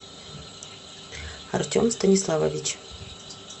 артем станиславович